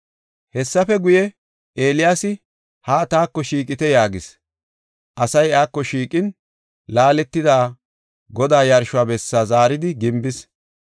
Hessafe guye, Eeliyaasi, “Haa taako shiiqite” yaagis. Asay iyako shiiqin, laaletida Godaa yarsho bessaa zaaridi gimbis.